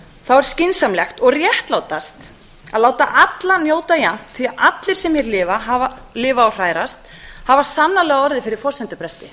er skynsamlegt og réttlátast að láta alla njóta jafnt því að allir sem hér lifa og hrærast hafa sannarlega orðið fyrir forsendubresti